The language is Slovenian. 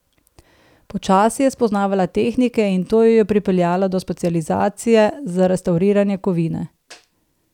Počasi je spoznavala tehnike in to jo je pripeljalo do specializacije za restavriranje kovine.